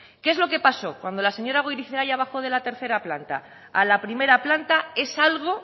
qué es lo que pasó cuando la señora goirizelaia bajó de la tercera planta a la primera planta es algo